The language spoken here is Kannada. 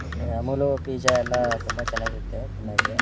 ಮತ್ತೆ ಅಮುಲ್ ಪಿಜ್ಜಾ ಎಲ್ಲ ತುಂಬಾ ಚೆನ್ನಾಗಿರುತ್ತೆ ತಿನ್ನಕೆ.